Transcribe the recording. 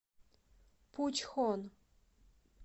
пучхон